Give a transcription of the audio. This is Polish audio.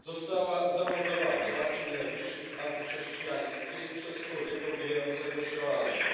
została zamordowana w akcie nienawiści antychrześcijańskiej przez człowieka ubiegającego się o azyl.